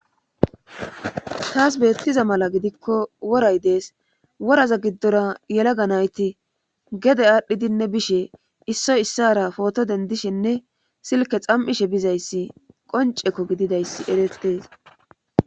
taas beettiza mala gidikko woray dees woraza giddora yelaga nayti gede aadhdhidinne bishe issoy issara pooto dendishenne silke xam7ishe bizayssi qoncekko gididayssi erettees